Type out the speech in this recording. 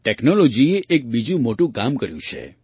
ટૅક્નૉલૉજીએ એક બીજું મોટું કામ કર્યું છે